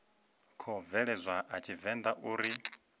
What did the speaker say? khou bveledzwa a tshivenḓa uri